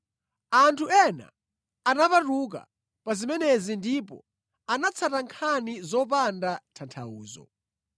Anthu ena anapatuka pa zimenezi ndipo anatsata nkhani zopanda tanthauzo.